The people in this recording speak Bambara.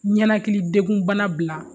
Ɲanakilidekun bana bila